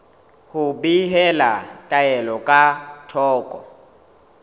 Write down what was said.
ho behela taelo ka thoko